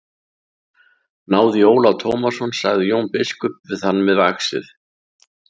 Náðu í Ólaf Tómasson, sagði Jón biskup við þann með vaxið.